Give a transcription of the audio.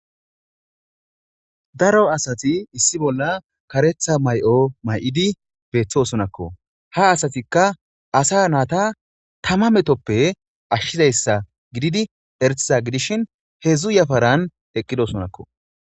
Daro asati issi bola karetha mayo mayidi betosonakko ha asatika asa nata tama metoppe ashizaysa gididi eretiza gidishin hedzu yafaran eqidosonakko.